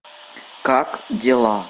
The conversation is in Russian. как дела